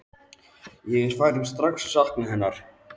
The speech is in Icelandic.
Ég er strax farinn að sakna hennar.